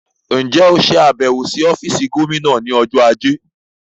Ǹjẹ́ óò ṣe àbẹ̀wò sí ọ́fíìsì Gómìnà ní ọjọ́ ajé?